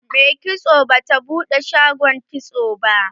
Mai kitson bata buɗe shagon kitson ba.